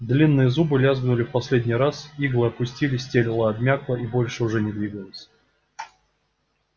длинные зубы лязгнули в последний раз иглы опустились тело обмякло и больше уже не двигалось